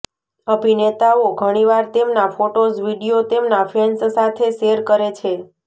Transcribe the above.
અભિનેતાઓ ઘણીવાર તેમના ફોટોઝ વીડિયો તેમના ફેન્સ સાથે શેર કરે છે